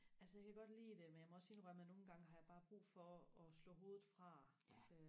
altså jeg kan godt lide det men jeg må også sige mig nogen gange har jeg bare brug for og slå hovedet fra